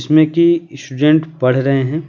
इसमें कि स्टूडेंट पढ़ रहे हैं ।